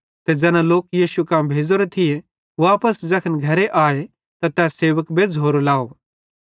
ते ज़ैना दोस्तन यीशु कां भेज़ोरे थिये वापस ज़ैखन घरे आए त तै सेवक बेज़्झ़ोरो लाव